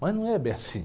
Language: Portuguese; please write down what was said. Mas não é bem assim.